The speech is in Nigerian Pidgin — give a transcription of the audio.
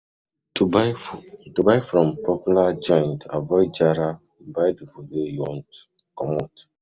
To buy from popular joint avoid jara buy di food wey you want commot